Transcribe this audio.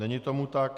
Není tomu tak.